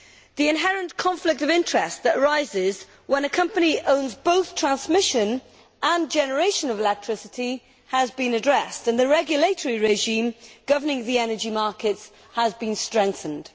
The inherit conflict of interests that arises when a company owns both transmission and generation of electricity has been addressed, and the regulatory regime governing the energy markets has been strengthened.